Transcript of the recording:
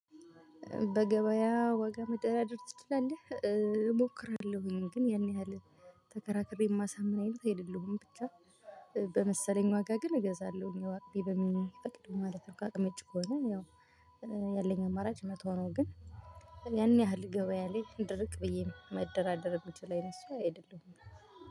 በገበያ ዋጋ መደራደር ትችላለህ? እሞክራለሁኝ ግን ያን ያህል ተከራክሬ እማሳምን አይነት ብቻ። በመሰለኝ ዋጋ ግን እገዛለሁኝ አቅሜ በሚፈቅደው ማለት ነው። ከአቅሚ ውጭ ከሆነ ያው ያለኝ አማራጭ መተው ነው። ግን ያን ያህል ገበያ ላይ ድርቅ ብዬ መደራደር የምችል አይነት ሰዉአይደለሁም